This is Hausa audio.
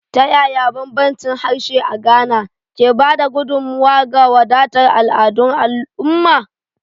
Ta yaya bambancin harshe a Ghana, ke ba da gudummawa ga wadatar al'adun al'umma?